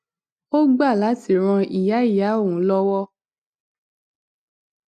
ó gbá láti ran ìyá ìyá òun lówó